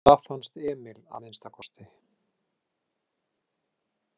Það fannst Emil að minnsta kosti.